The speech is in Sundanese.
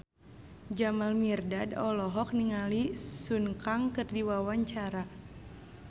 Jamal Mirdad olohok ningali Sun Kang keur diwawancara